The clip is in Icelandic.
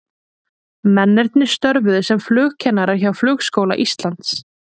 Mennirnir störfuðu sem flugkennarar hjá Flugskóla Íslands.